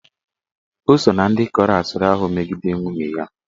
Ọ so ná ndị kọrọ asịrị ahụ megide nwunye ya.